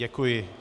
Děkuji.